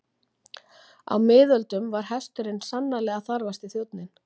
Á miðöldum var hesturinn sannarlega þarfasti þjónninn.